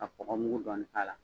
ka kɔgɔmugu dɔɔnin k'a la.